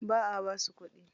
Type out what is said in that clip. Ba a basu kuɗi.